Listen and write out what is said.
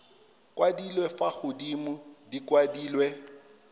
kwadilwe fa godimo di kwadilwe